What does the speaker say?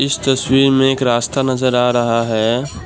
इस तस्वीर में एक रास्ता नजर आ रहा है।